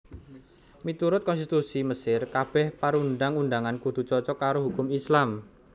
Miturut konstitusi Mesir kabèh perundang undangan kudu cocok karo hukum Islam